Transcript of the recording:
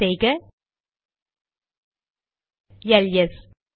type செய்க LS